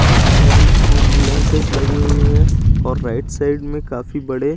काफी सारी एम्बुलेंसेस लगी हुई है और राइट साइड में काफी बड़े।